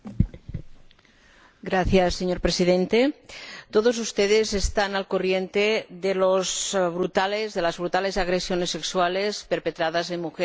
Señor Presidente, todos ustedes están al corriente de las brutales agresiones sexuales perpetradas contra mujeres indias estas últimas semanas.